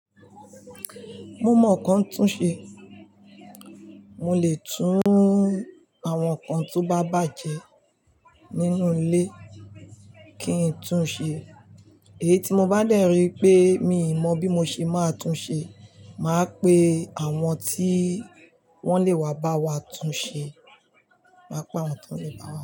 Mo mọ nǹkan tún ṣe, mo lè tún àwọn nǹkan tó bá bàjẹ́ nínú ilé kí n tún un ṣe. Èyí tí mo bá dẹ̀ rí pé mi ò mọ̀ bí mo ṣe máa tún ṣe, màá pe àwọn tí wọ́n lè wá bá wa tún ṣe, màá pe àwọn tí wọ́n lè bá wa tún ṣe.